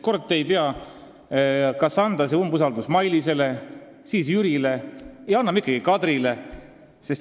Kord te tahate avaldada umbusaldust Mailisele, kord Jürile, siis selgub, et ei, avaldate ikkagi Kadrile.